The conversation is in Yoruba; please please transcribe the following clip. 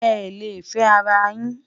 é lè fé ará yín